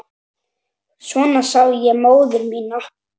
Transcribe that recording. Svona sá ég móður mína.